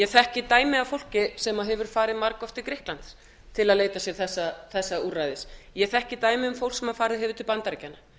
þekki dæmi af fólki sem hefur farið margoft til grikklands til að leita sér þessa úrræðis ég þekki dæmi um fólk sem farið hefur til bandaríkjanna